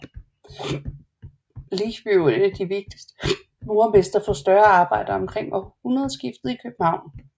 Licht blev en af de vigtigste murermestre for større arbejder omkring århundredeskiftet i København